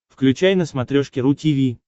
включай на смотрешке ру ти ви